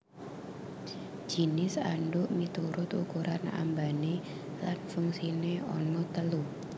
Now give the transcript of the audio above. Jinis andhuk miturut ukuran ambané lan fungsiné ana telu